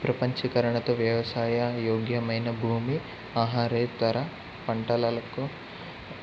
ప్రపంచీకరణతో వ్యవసాయ యోగ్యమైన భూమి ఆహారేతర పంటలకు